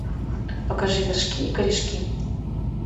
покажи вершки и корешки